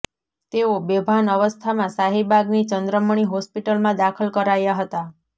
તેઓ બેભાન અવસ્થામાં શાહીબાગની ચંદ્રમણિ હોસ્પિટલમાં દાખલ કરાયા હતા